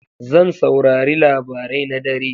Zan saurari labarai na dare.